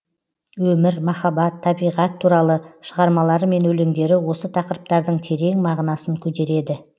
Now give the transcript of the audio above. өмір махаббат табиғат туралы шығармалары мен өлеңдері осы тақырыптардың терең мағынасын көтереді